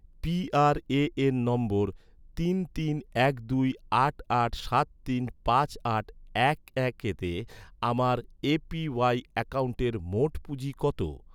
PRAN নম্বর তিন তিন এক দুই আট আট সাত তিন পাঁচ আট এক এক তে, আমার এ.পি.ওয়াই অ্যাকাউন্টের মোট পুঁজি কত?